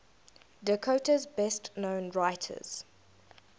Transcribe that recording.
dakota's best known writers